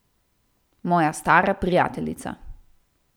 Moja stara prijateljica.